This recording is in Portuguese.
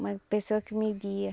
Uma pessoa que me guia.